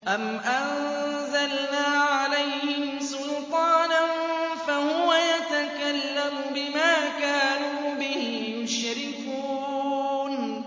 أَمْ أَنزَلْنَا عَلَيْهِمْ سُلْطَانًا فَهُوَ يَتَكَلَّمُ بِمَا كَانُوا بِهِ يُشْرِكُونَ